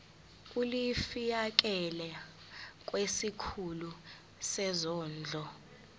ulifiakela kwisikulu sezondlo